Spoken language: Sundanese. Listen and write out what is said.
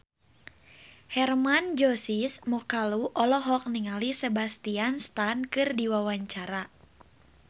Hermann Josis Mokalu olohok ningali Sebastian Stan keur diwawancara